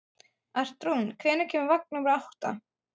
Arnrún, hvenær kemur vagn númer átta?